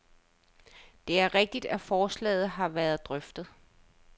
Det er rigtigt, at forslaget har været drøftet.